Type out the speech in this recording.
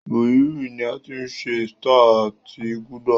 Búhírì ní a tí ṣe Star àti gulder